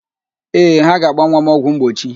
Ee, ha ga-agba nwa m ọgwụ mgbochi.